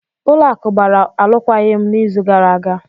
Ụlọ akụ gbara alụkwaghịm n'izu gara aga.